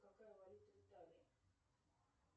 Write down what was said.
какая валюта в италии